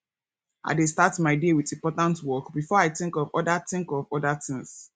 i dey start my day with important work before i think of other think of other things